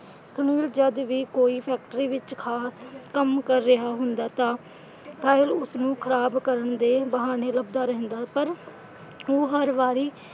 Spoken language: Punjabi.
ਸੁਨੀਲ ਜਦ ਵੀ ਕੋਈ ਫੈਕਟਰੀ ਵਿਚ ਖਾਸ ਕੰਮ ਕਰ ਰਿਹਾ ਹੁੰਦਾ ਤਾਂ ਸਾਹਿਲ ਉਸਨੂੰ ਖ਼ਰਾਬ ਕਰਨ ਦੇ ਬਹਾਨੇ ਲੱਭਦਾ ਰਹਿੰਦਾ ਪਰ ਉਹ ਹਰ ਵਾਰੀ।